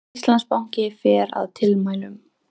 Íslandsbanki fer að tilmælunum